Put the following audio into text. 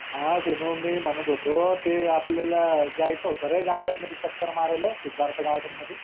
हां सिनु मी म्हनत होतो ते आपल्याला जायचं होत रे garden मध्ये चक्कर मारायला सिद्धार्थ garden मध्ये